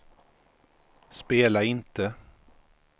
spela inte